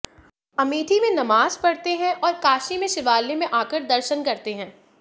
अमेठी में नमाज पढ़ते हैं और काशी में शिवालय में आकर दर्शन करते हैं